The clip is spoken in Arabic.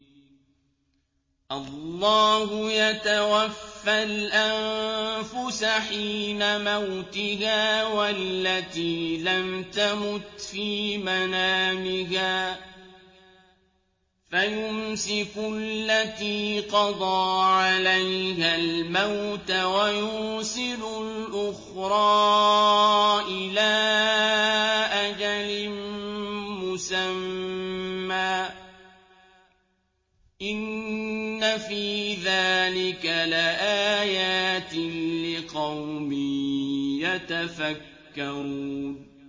اللَّهُ يَتَوَفَّى الْأَنفُسَ حِينَ مَوْتِهَا وَالَّتِي لَمْ تَمُتْ فِي مَنَامِهَا ۖ فَيُمْسِكُ الَّتِي قَضَىٰ عَلَيْهَا الْمَوْتَ وَيُرْسِلُ الْأُخْرَىٰ إِلَىٰ أَجَلٍ مُّسَمًّى ۚ إِنَّ فِي ذَٰلِكَ لَآيَاتٍ لِّقَوْمٍ يَتَفَكَّرُونَ